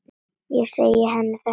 Ég segi henni þetta seinna.